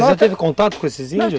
Mas já teve contato com esses índios?